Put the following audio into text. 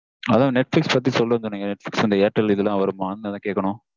அதா netflix பத்தி சொல்றேனு சொன்னிங்க. netflix அந்த ஏர்டெல் இதுலலாம் வருமானு அத கேக்கனும்